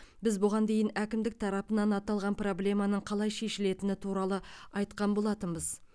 біз бұған дейін әкімдік тарапынан аталған проблеманың қалай шешілетіні туралы айтқан болатынбыз